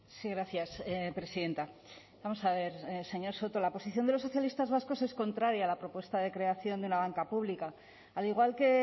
sí gracias presidenta vamos a ver señor soto la posición de los socialistas vascos es contraria a la propuesta de creación de una banca pública al igual que